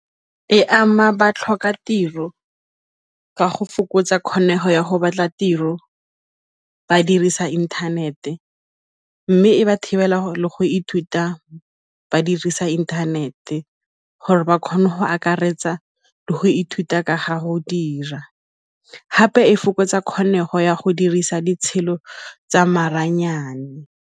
E ama ba tlhoka tiro ka go fokotsa kgonego ya go batla tiro ba dirisa inthanete, mme e ba thibela le go ithuta ba dirisa inthanete gore ba kgone go akaretsa le go ithuta ka ga go dira, gape e fokotsa kgonego ya go dirisa tsa maranyane.